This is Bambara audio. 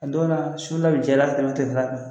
O don su la bɛ diya i la ka tɛmɛ tilefɛla kan